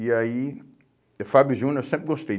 E aí, Fábio Júnior eu sempre gostei.